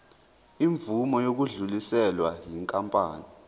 imvume yokudluliselwa yinkampani